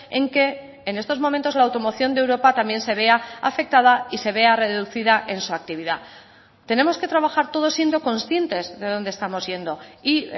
en que en estos momentos la automoción de europa también se vea afectada y se vea reducida en su actividad tenemos que trabajar todos siendo conscientes de donde estamos yendo y